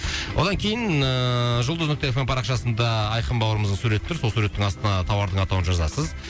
одан кейін ыыы жұлдыз нүкте эф эм парақшасында айқын бауырымыздың суреті тұр сол суреттің астына тауардың атауын жазасыз